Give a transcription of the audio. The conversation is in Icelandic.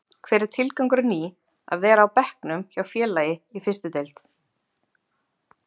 Hver er tilgangurinn í að vera á bekknum hjá félagi í fyrstu deild?